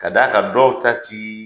Ka d'a kan dɔw ta ti